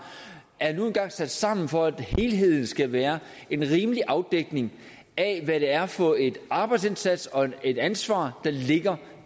er nu engang sat sammen for at helheden skal være en rimelig afdækning af hvad det er for en arbejdsindsats og et ansvar der ligger